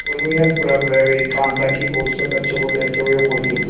उर्मी हतप्रभ रह गई कांता की गोद से बच्चे को लेते हुए बोली